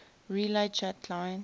relay chat clients